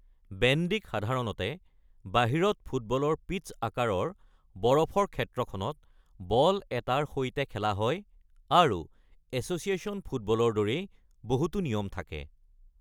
বেণ্ডীক সাধাৰণতে বাহিৰত ফুটবলৰ পিটছ্ আকাৰৰ বৰফৰ ক্ষেত্ৰখনত বল এটাৰ সৈতে খেলা হয় আৰু এছ'চিয়েচন ফুটবলৰ দৰেই বহুতো নিয়ম থাকে।